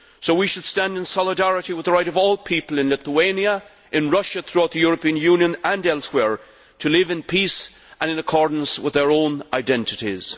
So, we should stand in solidarity with the right of all people in Lithuania, in Russia, throughout the European Union, and elsewhere, to live in peace and in accordance with their own identities.